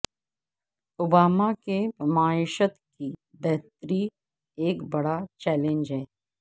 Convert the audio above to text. Obama کے معیشت کی بہتری ایک بڑا چیلنج ہے